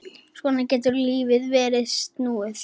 Svona getur lífið verið snúið.